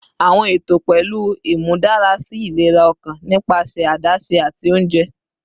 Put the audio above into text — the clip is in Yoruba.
Awọn eto pẹlu imudarasi ilera ọkan nipasẹ adaṣe ati ounjẹ